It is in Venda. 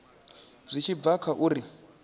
zwi tshi bva kha uri